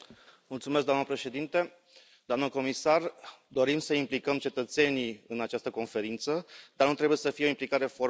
Doamnă președintă, doamnă comisar, dorim să implicăm cetățenii în această Conferință, dar nu trebuie să fie o implicare formală.